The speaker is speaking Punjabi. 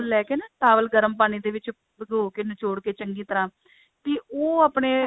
ਲੈਕੇ ਨਾ towel ਗਰਮ ਪਾਣੀ ਦੇ ਵਿੱਚ ਭਿਗੋ ਕੇ ਨਚੋੜ ਕੇ ਚੰਗੀ ਤਰ੍ਹਾਂ ਕਿ ਉਹ ਆਪਣੇ